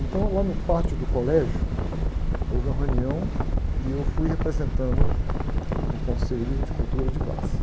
Então, lá no pátio do colégio, houve uma reunião e eu fui representando o Conselho de Cultura de Paz.